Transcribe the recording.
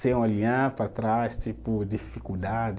sem olhar para trás, tipo, dificuldade